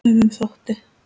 Sumum þótti!